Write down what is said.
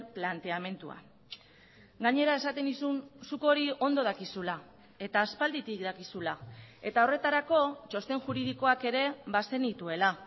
planteamendua gainera esaten nizun zuk hori ondo dakizula eta aspalditik dakizula eta horretarako txosten juridikoak ere bazenituela